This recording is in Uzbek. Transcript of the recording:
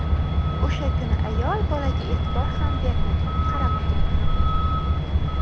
O‘sha kuni ayol bolaga e’tibor ham bermagan, qaramagan ham.